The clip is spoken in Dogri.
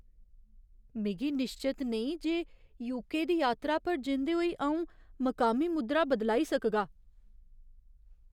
मिगी निश्चत नेईं जे यूके दी यात्रा पर जंदे होई अऊं मकामी मुद्रा बदलाई सकगा।